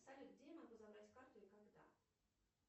салют где я могу забрать карту и когда